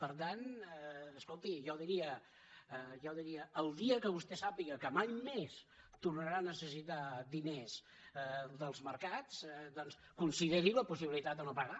per tant escolti jo diria el dia que vostè sàpiga que mai més tornarà a necessitar diners dels mercats doncs consideri la possibilitat de no pagar